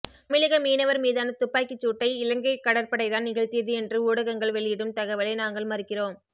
தமிழக மீனவர் மீதான துப்பாக்கிச் சூட்டை இலங்கை கடற்படைதான் நிகழ்த்தியது என்று ஊடகங்கள் வெளியிடும் தகவலை நாங்கள் மறுக்கிறோம்